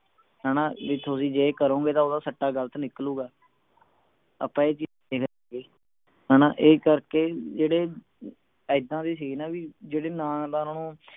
ਹਣਾ ਜੇ ਤੁਸੀਂ ਇਹ ਕਰੋਂਗੇ ਤਾਂ ਓਹਦਾ ਸਿੱਟਾ ਗਲਤ ਨਿਕਲੂਗਾ ਆਪਾਂ ਇਹ ਚੀਜ ਹਣਾ ਇਹ ਕਰਕੇ ਜਿਹੜੇ ਇੱਦਾਂ ਵੀ ਸੀ ਨਾ ਜਿਹੜੇ ਨਾ ਤਾਂ ਓਹਨਾ ਨੂੰ